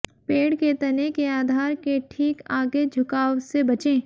पेड़ के तने के आधार के ठीक आगे झुकाव से बचें